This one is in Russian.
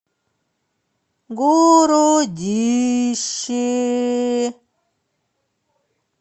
городище